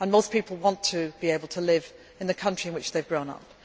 live. Most people want to be able to live in the country in which they have grown